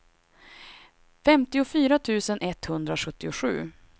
femtiofyra tusen etthundrasjuttiosju